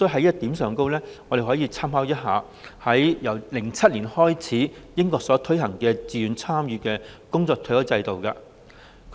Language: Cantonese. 就此，我們可以參考英國由2007年開始推行、屬自願參與的工作場所退休金。